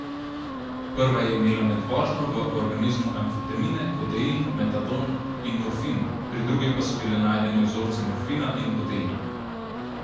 Prva je imela med vožnjo v organizmu amfetamine, kodein, metadon in morfin, pri drugi pa so bili najdeni vzorci morfina in kodeina.